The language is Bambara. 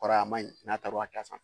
Kɔrɔ a man, n'a taara a ka san.